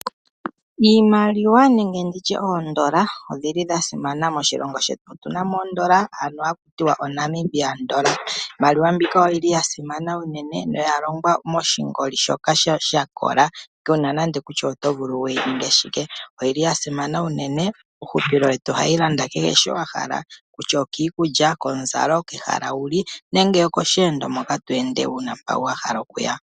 Iimaliwa nenge nditye oondola odhili dha simana moshilongo shetu. Otuna mo oondola ndhoka haku tiwa o"Namibian Dollar" iimaliwa mbika oyili ya simana uunene noya longwa moshingoli shoka sha kola kuna nande kutya oto vulu wuyi ninge shike. Oyi li ya simana uunene uuhupilo wetu ohayi landa kehe shi wahala kutya okiikulya, komuzalo, kehala wuli nenge mosheendo moka tweende wuna mpoka wahala okuya.